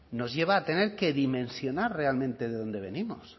nos lleva a tener que dimensionar realmente de dónde venimos